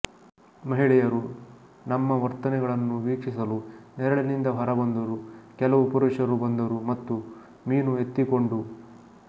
ಮಹಿಳೆಯರು ನಮ್ಮ ವರ್ತನೆಗಳನ್ನು ವೀಕ್ಷಿಸಲು ನೆರಳಿನಿಂದ ಹೊರಬಂದರು ಕೆಲವು ಪುರುಷರು ಬಂದರು ಮತ್ತು ಮೀನು ಎತ್ತಿಕೊಂಡು